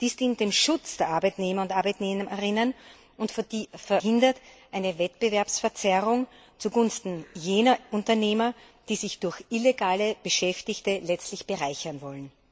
Dies dient dem Schutz der Arbeitnehmerinnen und Arbeitnehmer und verhindert eine Wettbewerbsverzerrung zugunsten jener Unternehmer, die sich durch illegale Beschäftigte letztlich bereichern wollen.